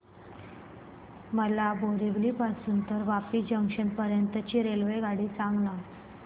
मला बोरिवली पासून तर वापी जंक्शन पर्यंत ची रेल्वेगाडी सांगा